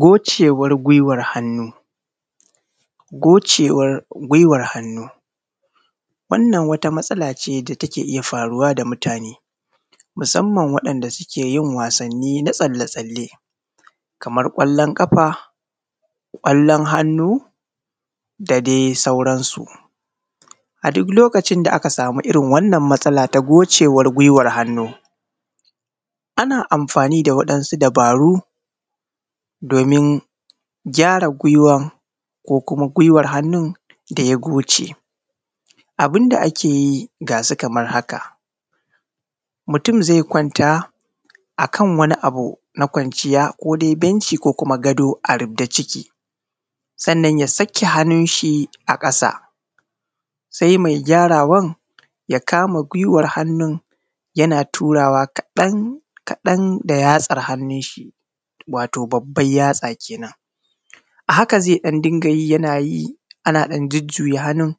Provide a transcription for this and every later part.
Gocewar gwiwar hannu, gocewar gwiwar hannu, wannan wata matsala ce da take iya faruwa da mutane, musamman waɗanda suke yin wasanni na tsalle-tsalle, kamar ƙwallan ƙafa, ƙwallan hannu da de sauran su. A duk lokacin da aka samu irin wannan matsala ta gocewar gwiwar hannu, ana amfani da waɗansu dabaru domin gyara gwiwan ko kuma gwiwar hannun da ya goce. Abin da ake yi, ga su kamar haka: mutun ze kwanta a kan wani abu na kwanciya, ko de banci ko kuma gado a rubd-da-ciki. Sannan, ya sake hanun shi a ƙasa, sai me gyarawan ya kama gwiwar hannun, yana turawa kaɗan, kaɗan da yatsan hanunshi, wato babban yatsa kenan. A haka ze ɗan dinga yi, yana yi, ana ɗan jujjuya hanun,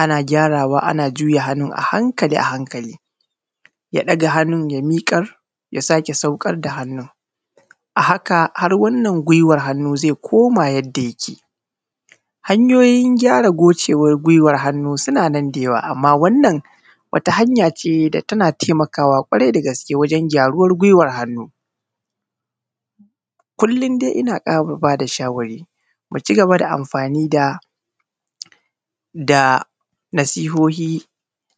ana gyarawa ana juya hanuna hankali a hankali. Ya ɗaga hanun ya miƙar, ya sake sauƙar da hannun, a haka har wannan gwiwar hannu ze koma yadda yake. Hanyoyin gyara gocewar gwiwar hannu, suna nan da yawa, amma wannan, wata hanya ce da tana temakawa ƙwarai da gaske wajen gyaruwan gwiwar hannu. Kullun de ina ƙara ba da shawari mu ci gaba da amfani da, da nasihohi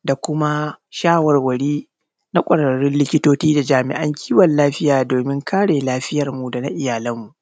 da kuma shawarwari na ƙwararrun likitoti da jami’an kiwon lafiya domin kare lafiyarmu da na iyalanmu.